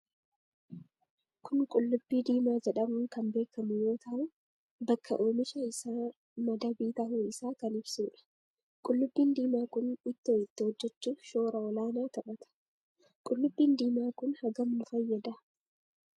Kun qullubbii diimaa jedhamuun kan beekamu yoo tahuu bakka oomisha isaa madabii tahuu isaa kan ibsuudha. Qullubbiin diimaa kun itto itti hojjechuuf shoora olaana taphata. Qullubbiin diimaa kun hagam nuu fayyada?